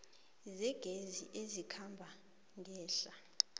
zegezi ezikhamba ngehla